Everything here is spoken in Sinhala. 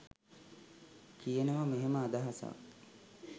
කියනව මෙහෙම අදහසක්